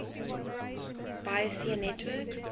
bayesian networks